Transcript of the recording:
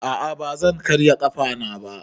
A a ba zan karya ƙafana ba.